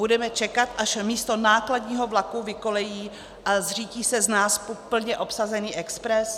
Budeme čekat, až místo nákladního vlaku vykolejí a zřítí se z náspu plně obsazený expres?